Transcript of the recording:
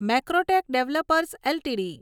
Macrotech developers LTD